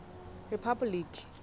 rephapoliki